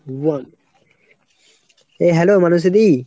বল। এ hello Manashi দি ?